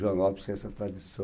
Joanópolis tem essa tradição.